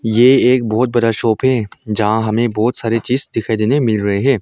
ये एक बहोत बड़ा शॉप है जहां हमे बहोत सारे चीज दिखाई देने मिल रहे है।